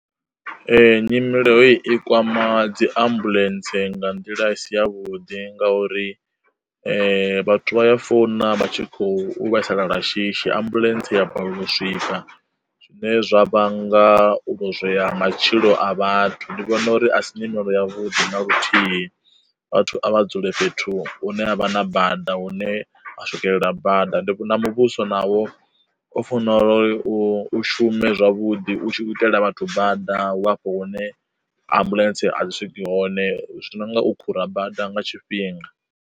Nyimelo heyi i kwama dzi ambuḽentse nga nḓila isi ya vhuḓi nga uri, vhathu vha ya founa vha tshi khou vhaisala lwa shishi ambuḽentse ya balelwa u swika, zwine zwa vhanga u lozwea ha matshilo a vhathu ndi vhona uri a si nyimele yavhuḓi na luthihi. Vhathu a vha dzule fhethu hune ha vha na bada hune a swikelela bada ndi vhona muvhuso navho u fanela uri u shume zwavhuḓi u tshi khou itela vhathu bada wa afho hune ambuḽentse a i swiki hone zwi no nga u khura bada nga tshifhinga.